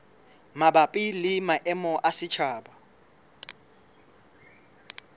mabapi le maemo a setjhaba